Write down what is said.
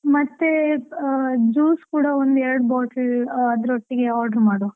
ಮತ್ತೆ, juice ಕೂಡಾ ಒಂದು ಎರಡು bottle , ಅದ್ರ ಒಟ್ಟಿಗೆ order ಮಾಡುವ.